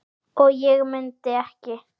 og ég mundi ekki.